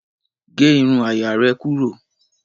Gé irun àyà rẹ̀ kúrò.